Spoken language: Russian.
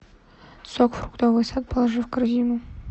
сок фруктовый сад положи в корзину